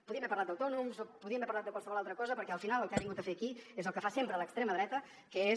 podíem haver parlat d’autònoms o podíem haver parlat de qualsevol altra cosa perquè al final el que ha vingut a fer aquí és el que fa sempre l’extrema dreta que és